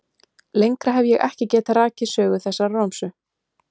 Lengra hef ég ekki getað rakið sögu þessarar romsu.